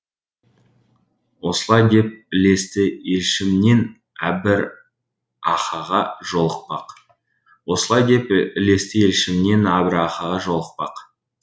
осылай деп ілесті елшімнен әбрахаға жолықпақ осылай деп ілесті елшіменен әбрахаға жолықпақ